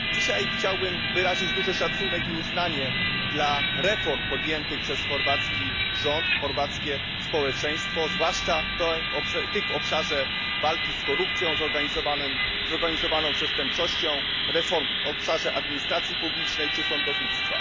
Dzisiaj chciałbym wyrazić duży szacunek i uznanie dla reform podjętych przez chorwacki rząd, chorwackie społeczeństwo, zwłaszcza tych w obszarze walki z korupcją, zorganizowaną przestępczością, reform w obszarze administracji publicznej czy sądownictwa.